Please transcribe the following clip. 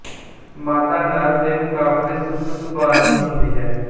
ਮਾਦਾ ਨਰ ਦੇ ਮੁਕਾਬਲੇ ਸੁਸਤ ਸੁਭਾਅ ਦੀ ਹੁੰਦੀ ਹੈ